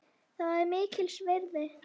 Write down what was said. Það var mér mikils virði.